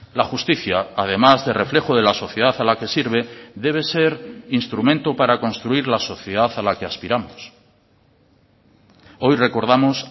la justicia además de reflejo de la sociedad a la que sirve debe ser instrumento para construir la sociedad a la que aspiramos hoy recordamos